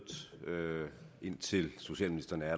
indtil socialministeren er